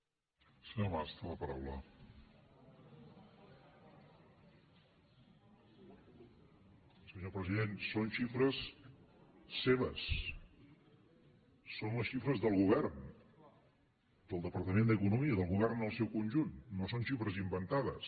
senyor president són xifres seves són les xifres del govern del departament d’economia del govern en el seu conjunt no són xifres inventades